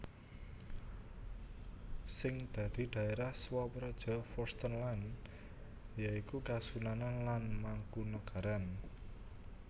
Sing dadi dhaerah swapraja vorstenland ya iku Kasunanan lan Mangkunagaran